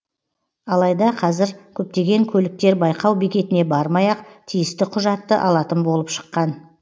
алайда қазір көптеген көліктер байқау бекетіне бармай ақ тиісті құжатты алатын болып шыққан